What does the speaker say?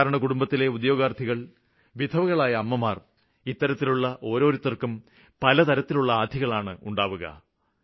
സാധാരണകുടുംബങ്ങളിലെ ഉദ്യോഗാര്ത്ഥികള് വിധവകളായ അമ്മമാര് ഇത്തരത്തിലുള്ള ഓരോരുത്തര്ക്കും പലതരത്തിലുള്ള ആധികളാണ് ഉണ്ടാകുക